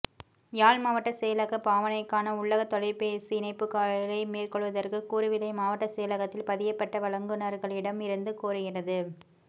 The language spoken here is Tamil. யாழ் மாவட்டச் செயலகப் பாவனைக்கான உள்ளக தொலைபேசி இணைப்புக்களை மேற்கொள்வதற்கு கூறுவிலை மாவட்டச் செயலகத்தில் பதியப்பட்ட வழங்குனர்களிடம் இருந்து கோருகிறது